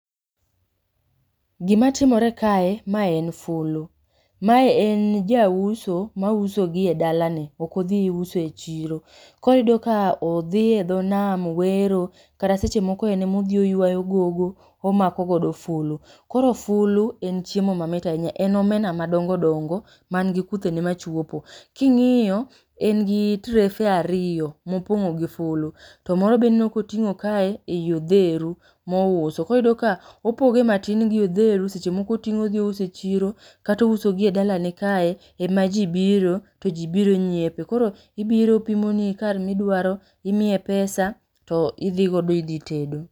Gima timore kae mae en fulu, mae en jauso ma uso gi edalane ok odhi uso e chiro. Koro iyudo ka odhi e dho nam owero, kata seche moko en ema odhi oywayo gogo omako godo fulu. Koro fulu en chiemo mamit ahinya, en omena madongo dongo man gi kuthe ni machuopo. King'iyo, en gi trefe ariyo mopong'o gi fulu, to moro be ineno ka oting'o kae ei odheru mouso. Koro iyudo ka opogo gi matin gi odheru seche moko oting'o ouso gi e chiro kata ouso gi e dalane kae ema ji biro to ji biro nyiepe. Koro ibiro opimoni kar midwaro, imie pesa to idhi godo idhi tedo.